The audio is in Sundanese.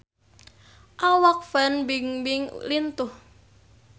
Awak Fan Bingbing lintuh